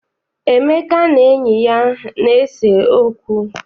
Emeka na enyi ya na-ese okwu.